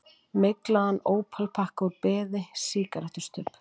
Myglaðan ópalpakka úr beði, sígarettustubb.